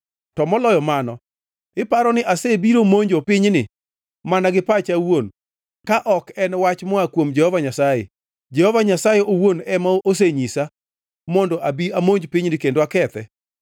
To moloyo mano iparo ni asebiro monjo pinyni mana gi pacha awuon ka ok en wach moa kuom Jehova Nyasaye? Jehova Nyasaye owuon ema osenyisa mondo abi amonj pinyni kendo akethe.’ ”